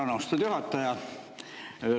Tänan, austatud juhataja!